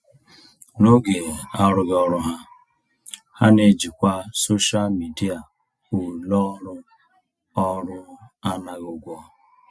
N'oge arụghị ọrụ ha, ha na-ejikwa soshal midịa ulọọrụ ọrụ anaghị ụgwọ.